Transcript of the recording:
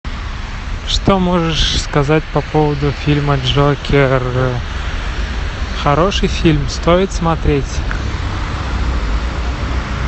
что можешь сказать по поводу фильма джокер хороший фильм стоит смотреть